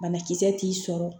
Banakisɛ t'i sɔrɔ